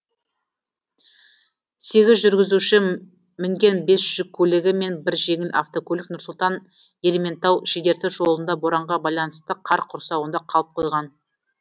сегіз жүргізуші мінген бес жүк көлігі мен бір жеңіл автокөлік нұр сұлтан ерейментау шідерті жолында боранға байланысты қар құрсауында қалып қойған